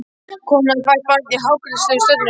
Kona hafði fætt barn í hákarlaróðri á Ströndum.